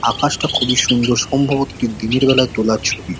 আকাশটা খুবই সুন্দর। সম্ভবত এটি দিনের বেলায় তোলা ছবি।